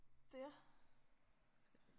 Der